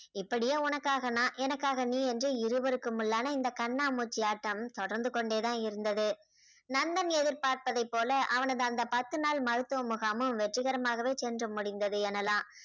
இப்படியே உனக்காக நான் எனக்காக நீ என்று இருவருக்குமுள்ளான இந்த கண்ணாமூச்சி ஆட்டம் தொடர்ந்து கொண்டே தான் இருந்தது நந்தன் எதிர்பார்த்ததை போல அவனது அந்த பத்து நாள் மருத்துவ முகாமும் வெற்றிகரமாகவே சென்று முடிந்தது எனலாம்.